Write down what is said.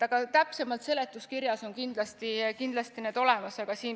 Aga need on seletuskirjas kindlasti olemas.